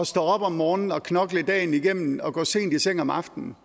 stå op om morgenen og knokle dagen igennem og gå sent i seng om aftenen